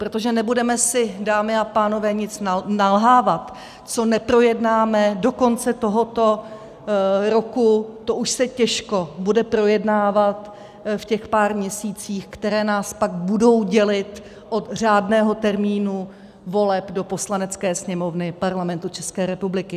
Protože nebudeme si, dámy a pánové, nic nalhávat, co neprojednáme do konce tohoto roku, to už se těžko bude projednávat v těch pár měsících, které nás pak budou dělit od řádného termínu voleb do Poslanecké sněmovny Parlamentu České republiky.